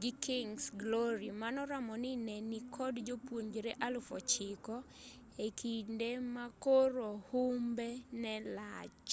gi king's glory manoramo ni ne nikod jopuonjre 9,000 e kinde ma koro humbe ne lach